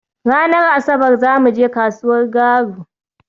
Ranar Asabar za mu je kasuwar Garu?